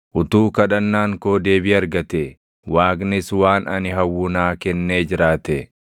“Utuu kadhannaan koo deebii argatee, Waaqnis waan ani hawwu naa kennee jiraatee,